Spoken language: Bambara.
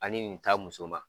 Ani nin ta muso ma